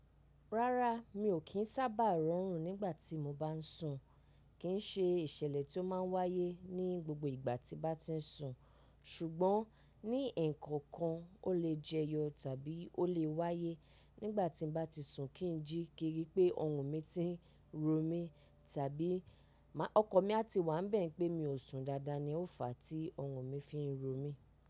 Rárá, mi ò kí ń sábà rọrùn nígbà tí mo bá ń sùn, kí ń ṣe ìṣẹ̀lẹ̀ tí ó má ń wáyé ní gbogbo ìgbà tí mo bá ti ń sùn, ṣùgbọ́n ní ẹkọ kan o le jẹyọ tàbí o le wáyé nígbà tí mo bá ti ń sùn, kí ń jí kiri pé ọrùn mi ti ń ro mí tàbí ọkan mi a ti wà ń bẹ̀ẹ̀ pé mi ò sùn dáadáa ni ó fà á tí ọrùn mi fi ń ro mí.